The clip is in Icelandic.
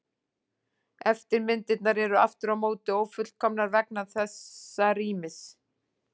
Eftirmyndirnar eru aftur á móti ófullkomnar vegna þessa rýmis.